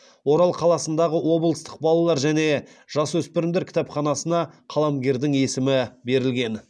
орал қаласындағы облыстық балалар мен жасөспірімдер кітапханасына қаламгердің есімі берілген